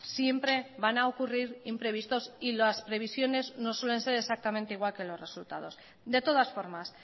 siempre van a ocurrir imprevistos y las previsiones no suelen ser exactamente igual que los resultados de todas formas